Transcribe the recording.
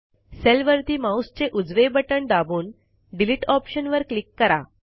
सेलवरती माऊसचे उजवे बटण दाबून डिलीट ऑप्शनवर क्लिक करा